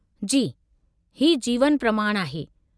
जी , हीउ जीवन प्रमाण आहे।